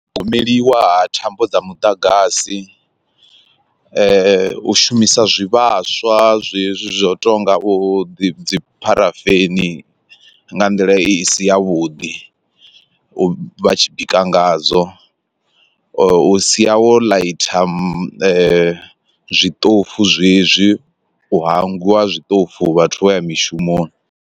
Gomeliwa ha thambo dza muḓagasi u shumisa zwivhaswa zwezwi zwa u tonga u ḓi dzi pharafeni nga nḓila i si ya vhuḓi vhatshi bika ngadzo u sia wo ḽaitha zwiṱofu zwezwi, u hangwiwa zwiṱofu vhathu vha ya mishumoni.